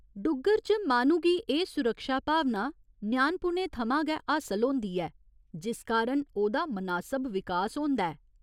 डुग्गर च माह्‌नू गी एह् सुरक्षा भावना ञ्यानपुने थमां गै हासल होंदी ऐ, जिस कारण ओह्दा मनासब विकास होंदा ऐ।